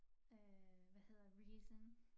Øh hvad hedder reason